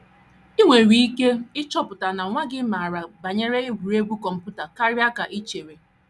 I nwere ike ịchọpụta na nwa gị maara banyere egwuregwu kọmputa karịa ka i karịa ka i chere!